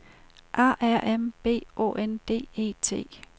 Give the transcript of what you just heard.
A R M B Å N D E T